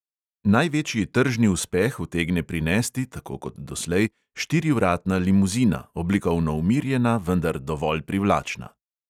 Največji tržni uspeh utegne prinesti – tako kot doslej – štirivratna limuzina, oblikovno umirjena, vendar dovolj privlačna.